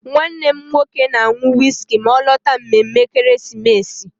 Nwannem nwoke na-aṅụ wiski ma ọ lọta mmemme ekeresimesi.